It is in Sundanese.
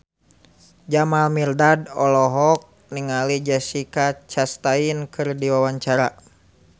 Jamal Mirdad olohok ningali Jessica Chastain keur diwawancara